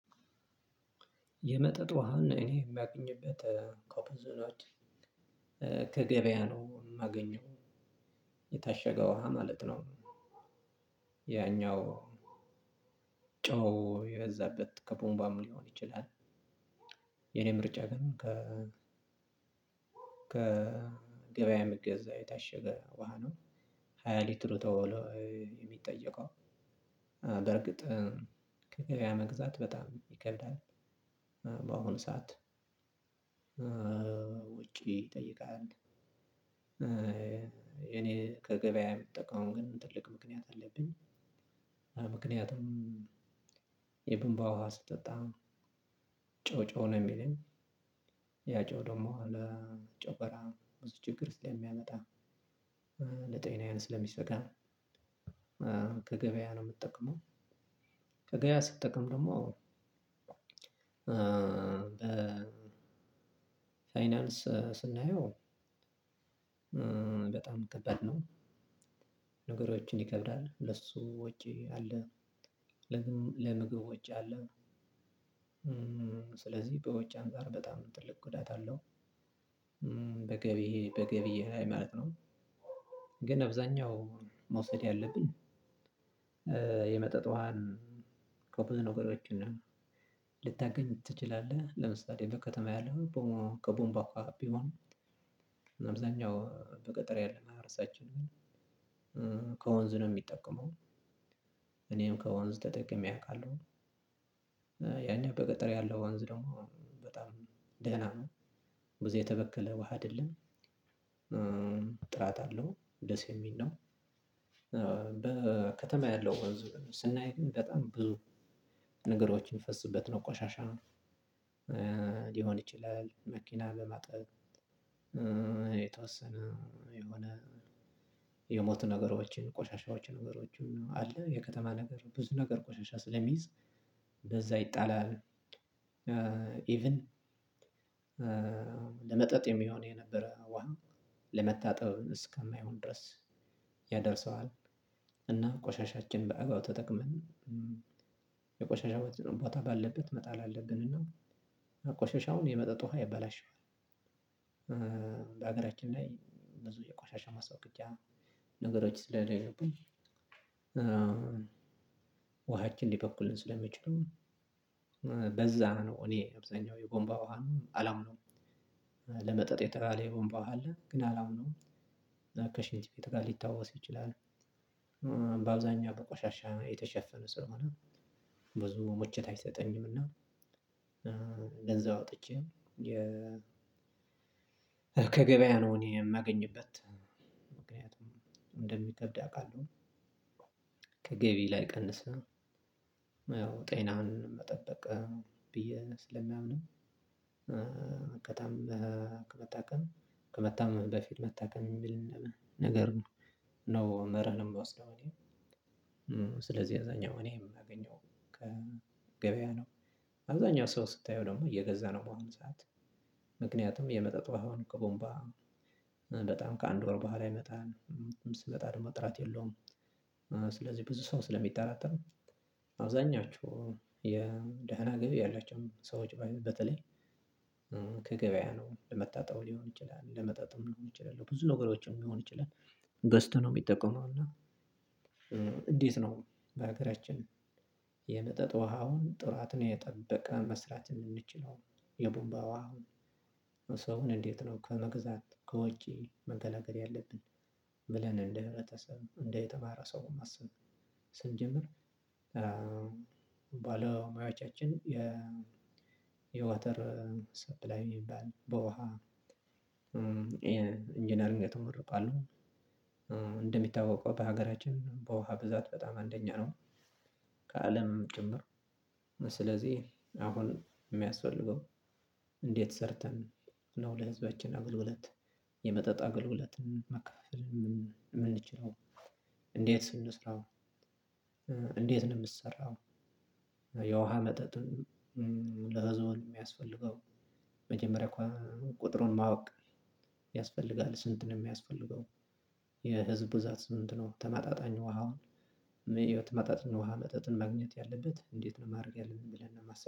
የመጠጥ ውሃን እኔ የማገኝበት ከገበያ ነው ማገኘው የታሸገው ውሃ ማለት ነው። ያኛው ጨው የበዛበት ከቧንቧም ሊሆን ይችላል። የኔ ምርጫ ግን ከ ከገበያ ሚገዛ የታሸገ ውሃ ነው። ሃያ ሌትሩ ተብሎ የሚጠየቀው በርግጥ ከሃያ መግዛት በጣም ይከብዳል በአሁኑ ሰዓት ወጪ ይጠይቃል። እኔ ከገበያ ምጠቀመው ግን ትልቅ ምክንያት አለብኝ። ምክንያቱም የቧንቧ ውሃ ስጠጣ ጨው ጨው ነው ሚለኝ ያ ጨው ደግሞ ለ ጨጓራ ብዙ ችግር ስለሚያመጣ ለጤናዬ ስለሚሰጋ ከገበያ ነው ምጠቀመው። ከገበያ ስጠቀም ደግሞ በ ፋይናንስ ስናየው በጣም ከበድ ነው። ነገሮችን ይከብዳል ለሱ ወጪ አለ ለምግብ ወጪ አለ። ስለዚህ በወጪ አንፃር በጣም ትልቅ ጉዳት አለው። በገቢ በገቢ ላይ ማለት ነው። ግን አብዛኛው መውሰድ ያለብን የመጠጥ ውሃን ከብዙ ነገሮችን ልታገኝ ትችላለህ። ለምሳሌ በከተማ ያለው ከቧንቧ ውሃ ቢሆን አብዛኛው በገጠር ያለ ማህበረሰባችን ከወንዝ ነው ሚጠቀመው እኔም ከወንዝ ተጠቅሜ አውቃለሁ። ያኛው በገጠር ያለው ወንዝ ደግሞ በጣም ደህና ነው። ብዙ የተበከለ ውሃ አይደለም። ጥራት አለው ደስ የሚል ነው። በከተማ ያለው ወንዝ ግን ስናይ ግን በጣም ብዙ ነገሮችን የሚፈስበት ነው ቆሻሻ ነው። ሊሆን ይችላል መኪና ለማጠብ የተወሰነ የሆነ የሞቱ ነገሮችን ቆሻሻዎችን ነገሮችን አለ የከተማ ነገር ብዙ ነገር ቆሻሻ ስለሚይዝ እንደዛ ይጣላል። ኢቭን ለመጠጥ የሚሆን የነበረ ውሃ ለመታጠብ እስከማይሆን ድረስ ያደርሰዋል። እና ቆሻሻችን በአግባቡ ተጠቅመን የቆሻሻው ቦታ ባለበት መጣል አለብን እና ቆሻሻውን የመጠጥ ውሃ ያበላሽዋል። በሀገራችን ላይ ብዙ የቆሻሻ ማስወገጃ ነገሮች ስለሌሉብኝ ውሃችን ሊበክሉ ስለሚችሉ በዛ ነው እኔ አብዛኛው የቧንቧ ውሃ አላምነውም የጥራሌ ቧንቧ ውሃ አለ ግን አላምነውም። ከሽንት ቤት ጋር ሊታወስ ይችላል በአብዛኛው በቆሻሻ የተሸፈነ ስለሆነ ብዙ መቾት አይሰጠኝምና። አውጥቼ ከገበያ ነው እኔ የማገኝበት ምክንያቱም እንደሚከብድ አውቃለው። ከገቢ ላይ ቀንስህ ያው ጤናን መጠበቅ ብዬ ስለማምን ከታከምክ ከመታመም በፊት መታከም የሚል ነገር ነው። ነው መርዕ የምወስደው እኔ ስለዚህ አብዛኛው እኔ የማገኘው ከገበያ ነው። አብዛኛው ሰው ስታየው ደግሞ እየገዛ ነው በአሁን ሰዓት። ምክንያቱም የመጠጥ ወሃውን ከቧንቧ በጣም ከአንድ ወር በኋላ ይመጣል። ስትመጣ ደግሞ ጥራት የለውም። ስለዚህ ብዙ ሰው ስለሚጠራጠር አብዛኛችሁ የደህና ገቢ ያላቸውም ሰዎች በተለይ ከገበያ ነው ለመታጠብም ሊሆን ይችላል ለመጥጥም ሊሆን ይችላል ብዙ ነገሮችን ሊሆን ይችላል። ገዝተው ነው የሚጠቀመው። እና እንዴት ነው? በሀገራችን የመጠጥ ውሃውን ጥራትን የጠበቀ መስራት የምንችለው? የቧንቧ ውሃ ሰውን እንዴት ነው ከመግዛት ከውጪ መከላከል ያለብን? ብለን እንደ ህብረተሰብ እንደ የተማረ ሰው ማሰብ ስንጀምር ባለሙያዎቻችን የወተር ሰፕላይ ሚባል በውሃ ኢንጂነር የተመረቁ አሉ። እንደሚታወቀው በሀገራችን በውሃ ብዛት በጣም አንደኛ ነው። ከአለም ጭምር ስለዚህ አሁን የሚያስፈልገው እንዴት ሰርተን ነው ለህዝባችን አገልግሎት የመጠጥ አገልግሎትን መከፋፈል የምንችለው እንዴት እንስራው? እንዴት ነው ሚሰራው? የውሃ መጠጥም ለዞን የሚያስፈልገው መጀመሪያ ቁጥሩን ማወቅ ያስፈልጋል። ስንትን የሚያስፈልገው የህዝብ ብዛት ስንት ነው? ተመጣጣኝ ውሃውን የህይወት መጠጥ ውሃ መጠጥን ማግኘት ያለበት እንዴት ነው ማድረግ ያለብን የሚለን ነው። ማሰብ